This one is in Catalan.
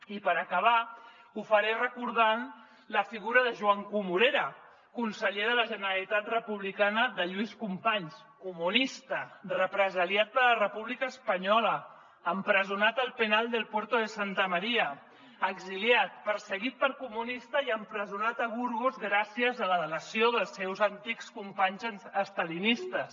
i per acabar ho faré recordant la figura de joan comorera conseller de la generalitat republicana de lluís companys comunista represaliat per la república espanyola empresonat al penal del puerto de santa maria exiliat perseguit per comunista i empresonat a burgos gràcies a la delació dels seus antics companys estalinistes